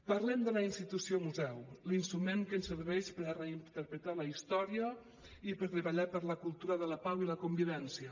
parlem de la institució museu l’instrument que ens serveix per reinterpretar la història i per treballar per la cultura de la pau i la convivència